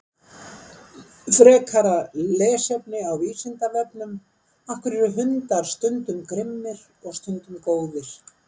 Frekara lesefni á Vísindavefnum: Af hverju eru hundar stundum grimmir og stundum góðir?